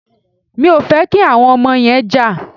Mi ò fẹ́ kí àwọn ọmọ yẹn jà.